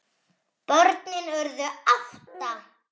Börnin urðu átta.